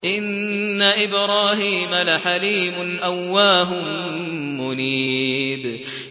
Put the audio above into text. إِنَّ إِبْرَاهِيمَ لَحَلِيمٌ أَوَّاهٌ مُّنِيبٌ